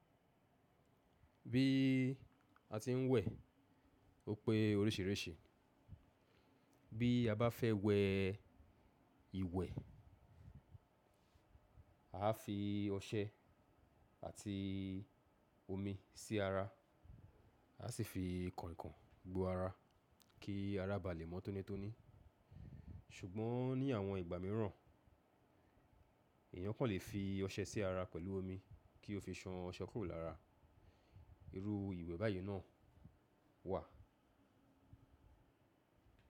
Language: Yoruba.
Bí a ti ń wẹ̀ òpe oríṣiríṣi, bí a bá fẹ́ wẹ ìwẹ̀, a á fi ọṣẹ àti omi sí ara, a sì fi kọ̀nkọ̀n gbó ara kí ara ba lè mọ́ tónítóní. Ṣùgbọ́n ní àwọn ìgbà míràn, èyàn kàn lè fi ọṣẹ sí ara pẹ̀lú omi kí ó fi ṣan ọṣẹ kúrò lára. Irú ìwẹ̀ báyìí náà wà.